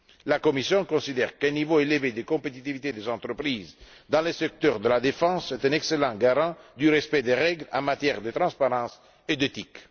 La Commission considère qu'un niveau élevé de compétitivité des entreprises dans le secteur de la défense est un excellent garant du respect des règles en matière de transparence et d'éthique.